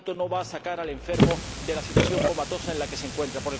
Por tanto, no va a sacar al enfermo de la situación comatosa en la que se encuentra